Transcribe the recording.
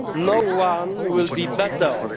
be freer. No one will be better